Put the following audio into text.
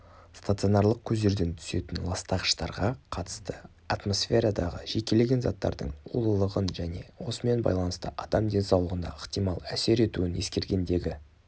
стационарлық көздерден түсетін ластағыштарға қатысты атмосферадағы жекелеген заттардың улылығын және осымен байланысты адам денсаулығына ықтимал әсер етуін ескергендегі